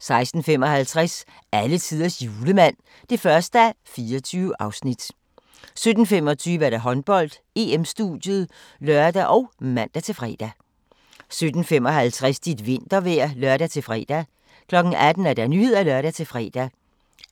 16:55: Alletiders Julemand (1:24) 17:25: Håndbold: EM-studiet (lør og man-fre) 17:55: Dit vintervejr (lør-fre) 18:00: Nyhederne (lør-fre)